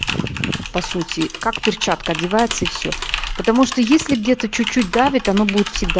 по сути как перчатка одевается и всё потому что если где-то чуть-чуть давит оно будет всегда